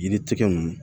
Yiri tigɛ nunnu